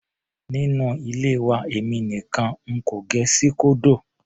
Nínú ilé wa èmi nìkan n kò gẹ síkódò.